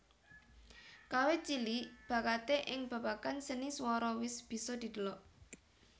Kawit cilik bakaté ing babagan seni swara wis bisa didelok